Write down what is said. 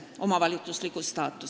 Heidy Purga, palun!